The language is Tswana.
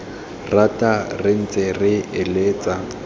rata re ne re eletsa